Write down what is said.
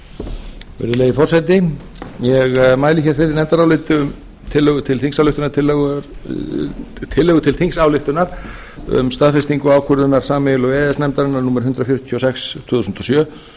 virðulegi forseti ég mæli hér fyrir nefndaráliti um tillögu til þingsályktunar um staðfestingu ákvörðunar sameiginlegu e e s nefndarinnar númer hundrað fjörutíu og sex tvö þúsund og sjö